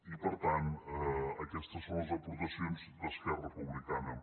i per tant aquestes són les aportacions d’esquerra republicana